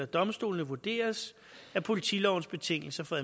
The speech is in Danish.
domstolene vurderes at politilovens betingelser for